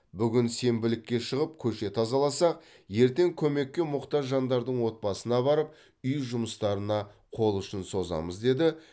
бүгін сенбілікке шығып көше тазаласақ ертең көмекке мұқтаж жандардың отбасына барып үй жұмыстарына қол ұшын созамыз деді